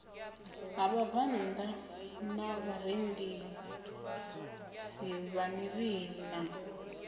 ha vhabvannḓa na vharengisamivhili na